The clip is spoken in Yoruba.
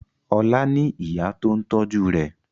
Ọlá ní ìyá tó ń tọ́jú rẹ̀.